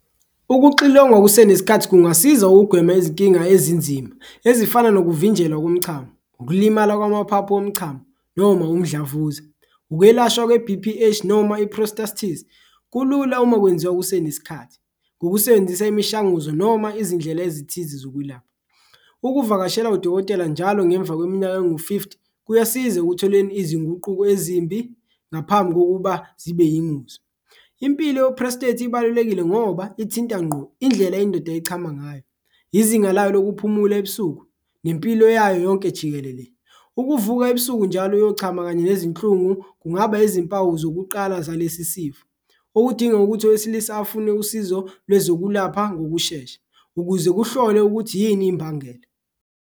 Ukuxilongwa kusenesikhathi kungasiza ugwema izinkinga ezinzima ezifana nokuvinjelwa komchamo, ukulimala kwamaphaphu womchamo, noma umdlavuza, ukwelashwa kwe-B_P_H noma i-prostate kulula uma kwenziwa kusenesikhathi. Ukusebenzisa imishanguzo noma izindlela ezithize zokwelapha, ukuvakashela udokotela njalo ngemva kweminyaka engu-fifty kuyasiza ekutholeni izinguquko ezimbi ngaphambi kokuba zibe yingozi. Impilo ye-prostate ibalulekile ngoba ithinta nqo indlela yindoda echama ngayo, izinga lakho lokuphumula ebusuku nempilo yayo yonke jikelele, ukuvuka ebusuku njalo uyochama kanye nezinhlungu kungaba izimpawu zokuqala zalesi sifo. Okudinga ukuthi owesilisa afune usizo lwezokulapha ngokushesha, ukuze kuhlolwe ukuthi yini imbangela.